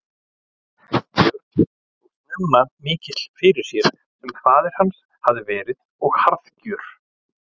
Björn og snemma mikill fyrir sér sem faðir hans hafði verið og harðgjör.